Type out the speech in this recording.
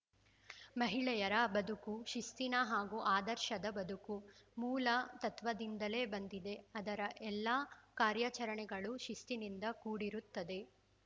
ಮಹಿಳೆಯರ ಬದುಕು ಶಿಸ್ತಿನ ಹಾಗೂ ಆದರ್ಶದ ಬದುಕು ಮೂಲ ತತ್ವದಿಂದಲೆ ಬಂದಿದೆ ಆದರ ಎಲ್ಲ ಕಾರ್ಯಾಚರಣೆಗಳು ಶಿಸ್ತಿನಿಂದ ಕೂಡಿರುತ್ತದೆ